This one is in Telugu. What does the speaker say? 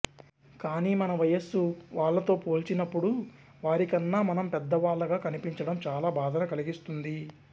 కానీ మన వయస్సు వాళ్లతో పోల్చినప్పుడు వారికన్నా మనం పెద్దవాళ్లగా కనిపించడం చాలా బాధను కలిగిస్తుంది